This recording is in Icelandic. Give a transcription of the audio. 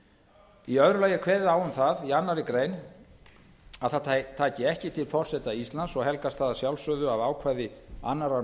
þessa í öðru lagi er kveðið á um það í annarri grein að það taki ekki til forseta íslands helgast það að sjálfsögðu af ákvæði annarrar